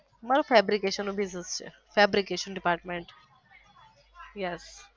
મારે ફેબ્રીકેશન નો business છે ફેબ્રીકેશન department yes